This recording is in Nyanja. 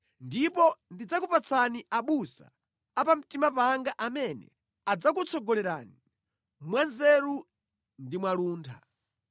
Ndipo ndidzakupatsani abusa a pamtima panga amene adzakutsogolerani mwanzeru ndi mwaluntha.